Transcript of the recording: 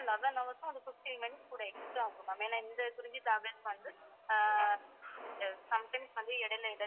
ஆமா eleven hours ம் fifteen minutes கூட extra ஆகும் ma'am ஏன்னா இந்த குறிஞ்சி travels வந்து ஆஹ் sometimes வந்து இடையில இடையில